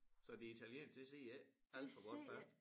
Så det italienske det sidder ikke alt for godt fast